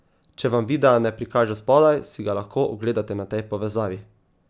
Če vam videa ne prikaže spodaj, si ga lahko ogledate na tej povezavi.